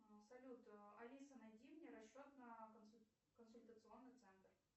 салют алиса найди мне расчет на консультационный центр